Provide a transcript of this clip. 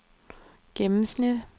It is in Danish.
gennemsnit